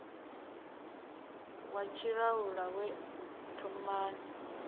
wa tshiṱalula we u thomani